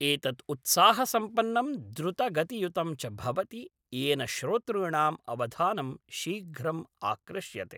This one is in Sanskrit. एतत् उत्साहसम्पन्नं द्रुतगतियुतं च भवति, येन श्रोतृॄणां अवधानम् शीघ्रम् आकृष्यते।